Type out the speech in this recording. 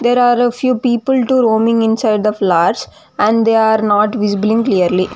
There are a few people too roaming inside the flowers and they are not visibling clearly.